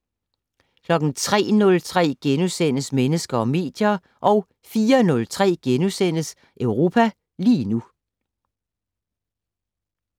03:03: Mennesker og medier * 04:03: Europa lige nu *